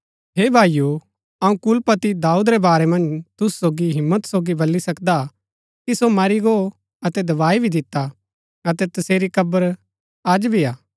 हे भाईओ अऊँ कुलपति दाऊद रै वारै मन्ज तुसु सोगी हिम्मत सोगी बली सकदा कि सो मरी गो अतै दबाई भी दिता अतै तसेरी कब्र अज भी हा